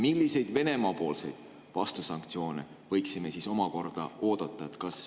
Milliseid Venemaa-poolseid vastusanktsioone võiksime omakorda oodata?